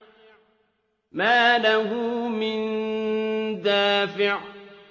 مَّا لَهُ مِن دَافِعٍ